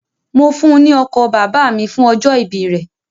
Mo fún un ní ọkọ̀ bàbà mi fún ọjọ́ ìbí rẹ̀.